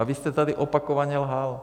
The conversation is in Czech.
A vy jste tady opakovaně lhal.